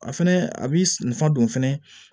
A fɛnɛ a b'i nafa don fɛnɛ